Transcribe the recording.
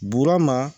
Burama